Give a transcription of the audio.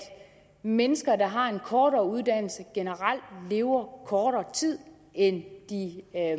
mennesker der har en kortere uddannelse generelt lever kortere tid end de